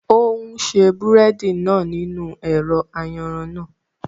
O n ṣe búrẹ́dì náà nínú ẹ̀rọ ayanran náà